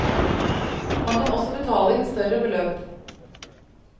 Man kan også betale inn større beløp.